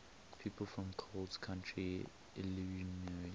people from coles county illinois